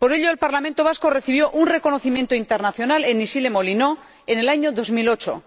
Por ello, el Parlamento Vasco recibió un reconocimiento internacional en Issy les Moulineaux en el año 2008